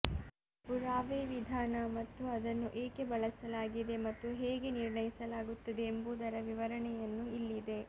ಪುರಾವೆ ವಿಧಾನ ಮತ್ತು ಅದನ್ನು ಏಕೆ ಬಳಸಲಾಗಿದೆ ಮತ್ತು ಹೇಗೆ ನಿರ್ಣಯಿಸಲಾಗುತ್ತದೆ ಎಂಬುದರ ವಿವರಣೆಯನ್ನು ಇಲ್ಲಿದೆ